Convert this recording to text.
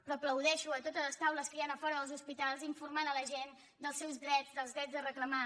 però aplaudeixo a totes les taules que hi han a fora dels hospitals per informar la gent dels seus drets dels drets a reclamar